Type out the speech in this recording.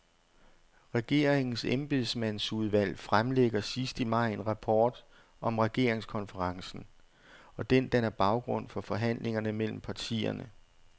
Regeringens embedsmandsudvalg fremlægger sidst i maj en rapport om regeringskonferencen, og den danner baggrund for forhandlingerne mellem partierne.